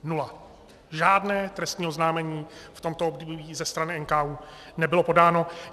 Žádné trestní oznámení v tomto období ze strany NKÚ nebylo podáno.